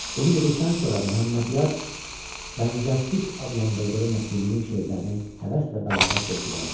Bunu dedikdən sonra Məhəmmədyar bənzərsiz adlandırdığı Nəsiminin şeirlərini həvəs və bəlağətlə oxuyardı.